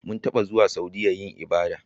Mun taba zuwa Saudiya yin ibada.